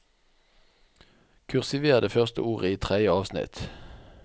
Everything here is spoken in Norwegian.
Kursiver det første ordet i tredje avsnitt